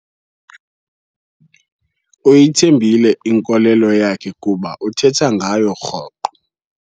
Uyithembile inkolelo yakhe kuba uthetha ngayo rhoqo.